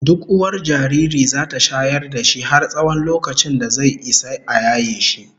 Duk uwar jariri zata shayar da shi har tsawon lokacin da zai Isa a yaye shi